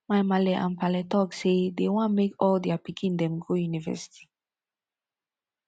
my maale and paale talk say dey wan make all their pikin dem go university